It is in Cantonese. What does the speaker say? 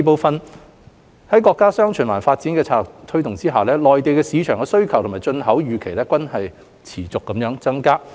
二在國家"雙循環"發展策略的推動下，內地市場的需求及進口預期均會持續增加。